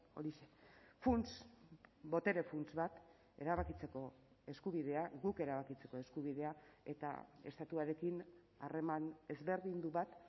horixe funts botere funts bat erabakitzeko eskubidea guk erabakitzeko eskubidea eta estatuarekin harreman ezberdindu bat